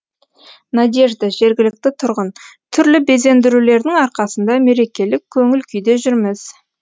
надежда жергілікті тұрғын түрлі безендірулердің арқасында мерекелік көңіл күйде жүрміз